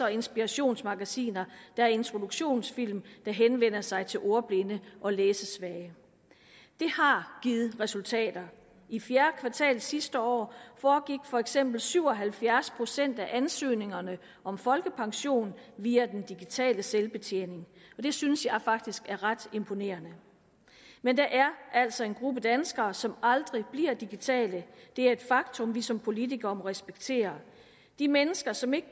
og inspirationsmagasiner der er introduktionsfilm der henvender sig til ordblinde og læsesvage det har givet resultater i fjerde kvartal sidste år foregik for eksempel syv og halvfjerds procent af ansøgningerne om folkepension via den digitale selvbetjening og det synes jeg faktisk er ret imponerende men der er altså en gruppe danskere som aldrig bliver digitale det er et faktum vi som politikere må respektere de mennesker som ikke